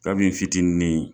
Kabi n fitinin